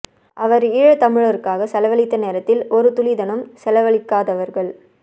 அவர் ஈழத்தமிழருக்காக செலவளித்த நேரத்தில் ஒரு துளிதனும் செலவளிக்காதவர்கள்